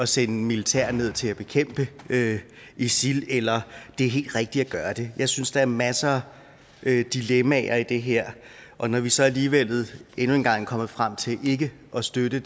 sende militær ned til at bekæmpe isil eller at det er helt rigtigt at gøre det jeg synes at der er masser af dilemmaer i det her og når vi så alligevel endnu en gang er kommet frem til ikke at støtte